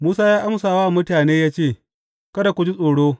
Musa ya amsa wa mutane ya ce, Kada ku ji tsoro.